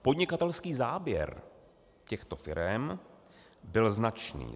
Podnikatelský záběr těchto firem byl značný.